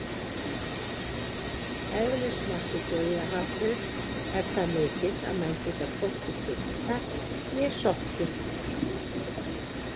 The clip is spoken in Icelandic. Eðlismassi Dauðahafsins er það mikill að menn geta hvorki synt þar né sokkið!